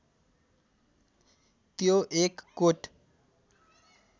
त्यो एक कोट